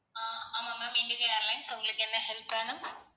ஆஹ் ஆமா ma'am IndiGo Airlines உங்களுக்கு என்ன help வேணும்?